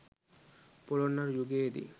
පොළොන්නරු යුගයේ දී